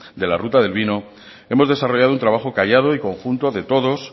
de la ruta del vino hemos desarrollado un trabajo callado y conjunto de todos